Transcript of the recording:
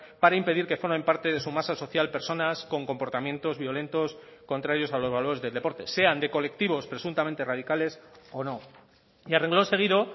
para impedir que formen parte de su masa social personas con comportamientos violentos contrarios a los valores del deporte sean de colectivos presuntamente radicales o no y a renglón seguido